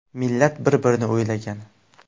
Millat bir-birini o‘ylagan.